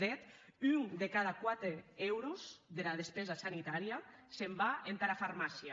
de hèt un de cada quate euros dera despensa sanitària se’n va entara farmàcia